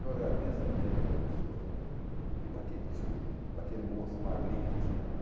Eu agradeço a minha vida para o senhor e para tio para aquele moço magrinho que tinha lá.